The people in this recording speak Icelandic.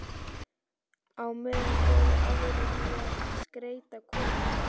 Á meðan fóru aðrir í að skreyta kofann.